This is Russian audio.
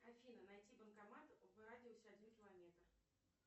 афина найти банкомат в радиусе один километр